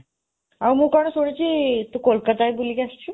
ଆଉ ମୁଁ କଣ ଶୁଣିଛି, ତୁ କୋଲକତା ବି ବୁଲିକି ଆସିଛୁ।